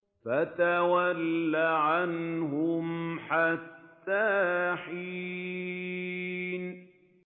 فَتَوَلَّ عَنْهُمْ حَتَّىٰ حِينٍ